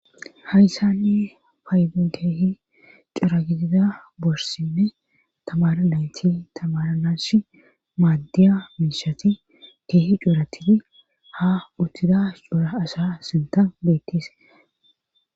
Hayssanni paydun keehi curagidida borsinne tamaranayti tamaranash maaddiya miishati keehi cuuratidi ha uttida cuura asa sinta beettise